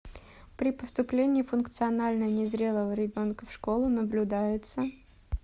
при поступлении функционально незрелого ребенка в школу наблюдается